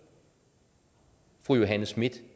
fru johanne schmidt